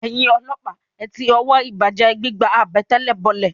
Ẹ̀yin ọlọ́pàá, ẹ ti ọwọ́ ìbàjẹ́ ẹ gbígba àbẹ̀tẹ̀lẹ̀ bọlẹ̀!